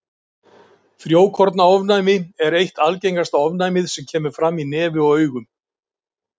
Frjókornaofnæmi er eitt algengasta ofnæmið sem kemur fram í nefi og augum.